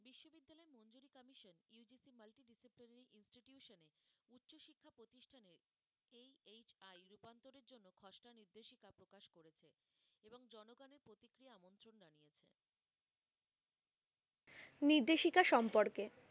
নির্দেশিকা সম্পর্কে